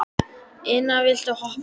Ina, viltu hoppa með mér?